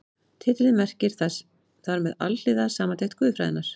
Titillinn merkir þar með Alhliða samantekt guðfræðinnar.